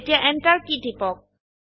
এতিয়া enter key টিপক